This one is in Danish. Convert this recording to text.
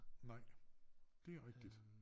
Nej det rigtigt